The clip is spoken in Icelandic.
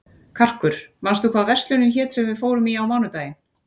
Karkur, manstu hvað verslunin hét sem við fórum í á mánudaginn?